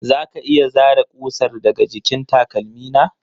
Za ka iya zare ƙusar daga jikin takalmi na?